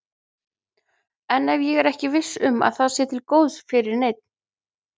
En ef ég er ekki viss um að það sé til góðs fyrir neinn?